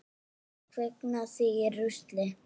Kviknað í rusli?